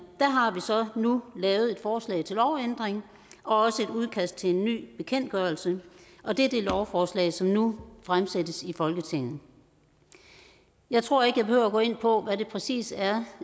har vi så nu lavet et forslag til lovændring og også et udkast til en ny bekendtgørelse og det er det lovforslag som nu fremsættes i folketinget jeg tror ikke jeg behøver at gå ind på hvad det præcis er